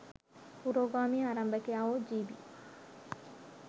පුරෝගාමී ආරම්භකයා වූ ජී.බී.